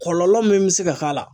Kɔlɔlɔ min bɛ se ka k'a la